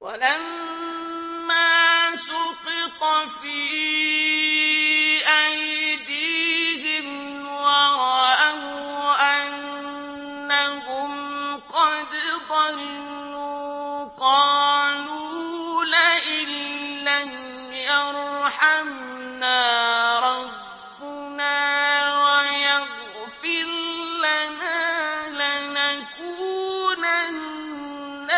وَلَمَّا سُقِطَ فِي أَيْدِيهِمْ وَرَأَوْا أَنَّهُمْ قَدْ ضَلُّوا قَالُوا لَئِن لَّمْ يَرْحَمْنَا رَبُّنَا وَيَغْفِرْ لَنَا لَنَكُونَنَّ